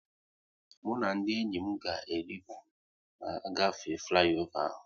Mụ na ndị enyi m ga e ritu na-agafe fliova